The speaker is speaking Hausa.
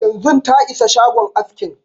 Yanzun ta isa shagon askin